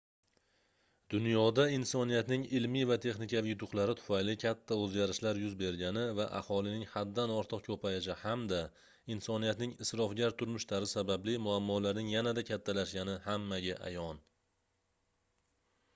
dunyoda insoniyatning ilmiy va texnikaviy yutuqlari tufayli katta oʻzgarishlar yuz bergani va aholining haddan ortiq koʻpayishi hamda insoniyatning isrofgar turmush tarzi sababli muammolarning yanada kattalashgani hammaga ayon